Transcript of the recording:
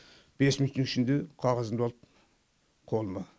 бес минуттың ішінде қағазымды алып қолыма